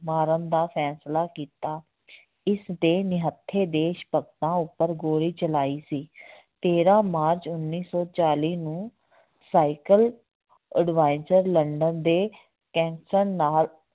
ਮਾਰਨ ਦਾ ਫੈਸਲਾ ਕੀਤਾ ਇਸਦੇ ਨਿਹੱਥੇ ਦੇਸ ਭਗਤਾਂ ਉੱਪਰ ਗੋਲੀ ਚਲਾਈ ਸੀ ਤੇਰਾਂ ਮਾਰਚ ਉੱਨੀ ਸੌ ਚਾਲੀ ਨੂੰ ਸਾਇਕਲ ਉਡਵਾਇਜਰ ਲੰਡਨ ਦੇ ਕੈਂਸਰ ਨਾਲ